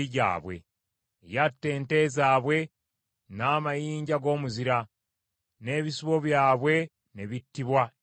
Yatta ente zaabwe n’amayinja g’omuzira; n’ebisibo byabwe ne bittibwa eraddu.